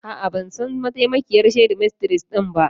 A'a, ban san mataimakiyar shedimistres ɗin ba.